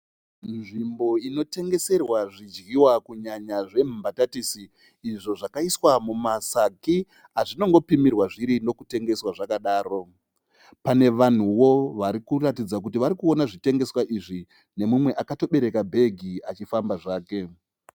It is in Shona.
Nzvimbo inotengeserwa zvidyiwa kunyanya zvembatatisi izvo zvakaiswa mumasagi azvinongopimirwa zviri nokutengeswa zvakadaro . Pane vanhuwo varikuratidza kuti varikuona zvitengeswa izvi neumwe akatobereka bhegi achifamba zvake.